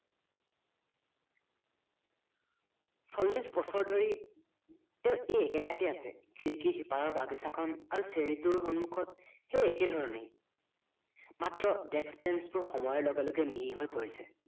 চল্লিচ বছৰ ধৰি তেওঁ এই একে ঠাইতে আছে খিৰিকীৰ সিপাৰৰ বাগিচাখন আৰু cherry টোৰ সন্মুখত সেই একেধৰণেই মাত্ৰ desk banch বোৰ সময়ৰ লগে লগে মিহি হৈ পৰিছে